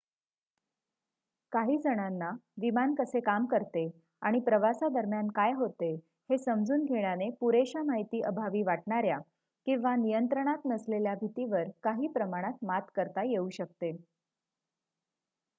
काही जणांना विमान कसे काम करते आणि प्रवासादरम्यान काय होते हे समजून घेण्याने पुरेशा माहिती अभावी वाटणाऱ्या किंवा नियंत्रणात नसलेल्या भीतीवर काही प्रमाणात मात करता येऊ शकते